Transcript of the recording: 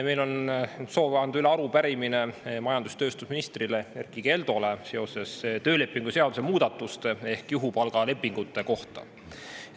Meil on soov anda üle arupärimine majandus‑ ja tööstusminister Erkki Keldole seoses töölepingu seaduse muudatuste ehk juhupalgalepingutega.